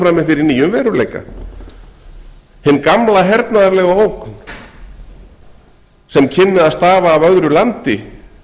frammi fyrir nýjum veruleika hin gamla hernaðarlega ógn sem kynni að stafa af öðru landi